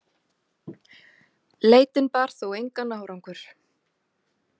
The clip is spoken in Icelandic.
Leitin bar þó engan árangur.